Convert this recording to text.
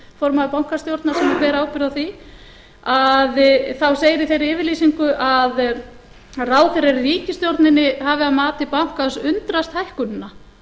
formaður bankastjórnar sem ber ábyrgð á því þá segir í þeirri yfirlýsingu að ráðherrar í ríkisstjórninni hafi að mati bankans undrast hækkunina